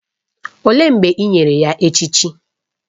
Olee mgbe e nyere ya echichi?